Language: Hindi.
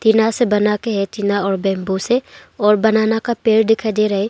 टीना से बना के है टीना और बैंबू से और बनाना का पेड़ दिखाई दे रहा है।